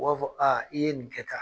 U b'a fɔ i ye nin kɛ tan